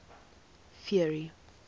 ferry